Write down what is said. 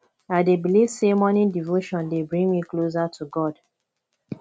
i dey believe say morning devotion dey bring me closer to god